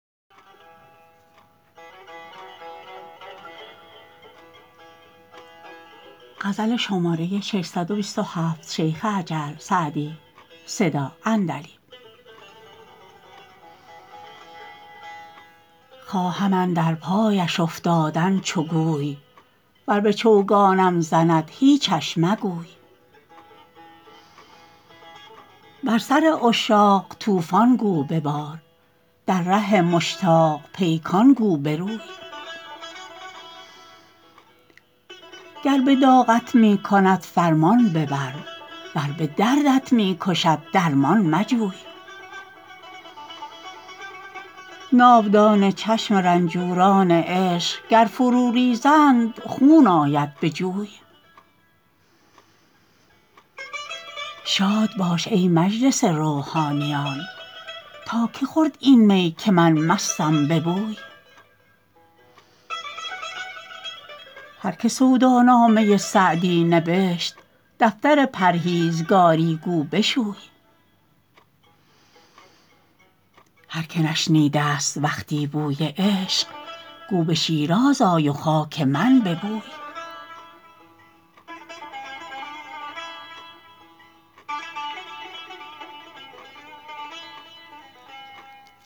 خواهم اندر پایش افتادن چو گوی ور به چوگانم زند هیچش مگوی بر سر عشاق طوفان گو ببار در ره مشتاق پیکان گو بروی گر به داغت می کند فرمان ببر ور به دردت می کشد درمان مجوی ناودان چشم رنجوران عشق گر فرو ریزند خون آید به جوی شاد باش ای مجلس روحانیان تا که خورد این می که من مستم به بوی هر که سودا نامه سعدی نبشت دفتر پرهیزگاری گو بشوی هر که نشنیده ست وقتی بوی عشق گو به شیراز آی و خاک من ببوی